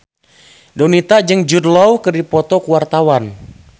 Donita jeung Jude Law keur dipoto ku wartawan